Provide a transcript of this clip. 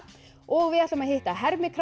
og við ætlum að hitta